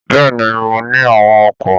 Bẹ́ẹ̀ ni, mo ní àwọn oko.